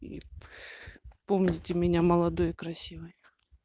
помните меня молодой и красивой